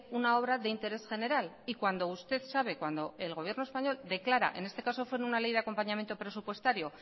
una obra de interés general y cuando usted sabe cuando el gobierno español declara en este caso fue una ley de acompañamiento presupuestario